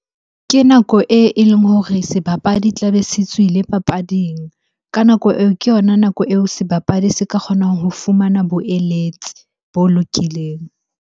Ke nako e, e leng hore sebapadi tlabe se tswile papading. Ka nako eo, ke yona nako eo sebapadi se ka kgonang ho fumana boeletsi bo lokileng.